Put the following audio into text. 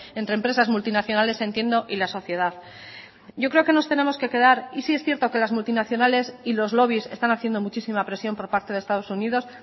entre empresas multinacionales entiendo y la sociedad yo creo que nos tenemos que quedar y si es cierto que las multinacionales y los lobbies están haciendo muchísima presión por parte de estados unidos